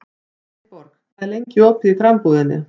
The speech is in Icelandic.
Sveinborg, hvað er lengi opið í Krambúðinni?